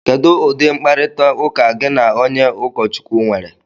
Kedu ụdị mkparịta ụka gị na onye ụkọchukwu nwere?